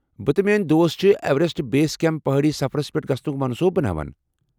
بہٕ تہٕ میٲنۍ دوست چھِ ایوریسٹ بیس کیمپ پہٲڈی سفرس پیٹھ گژھنُک منصوبہٕ بناون۔